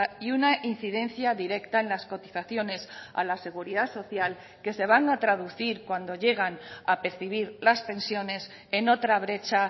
y una incidencia directa en las cotizaciones a la seguridad social que se van a traducir cuando llegan a percibir las pensiones en otra brecha